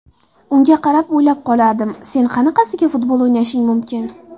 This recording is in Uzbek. Unga qarab o‘ylab qolardim: ‘Sen qanaqasiga futbol o‘ynashing mumkin?